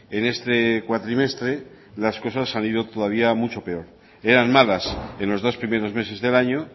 en este cuatrimestre las cosas han ido todavía mucho peor eran malas en los dos primeros meses del año